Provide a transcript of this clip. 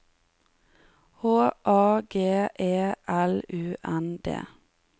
H A G E L U N D